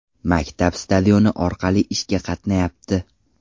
Maktab stadioni orqali ishga qatnayapti.